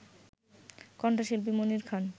কণ্ঠশিল্পী মনির খান